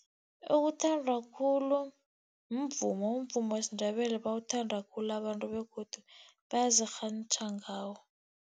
Okuthandwa khulu mvumo. Umvumo wesiNdebele bawuthanda khulu abantu begodu bayazirhantjha ngawo.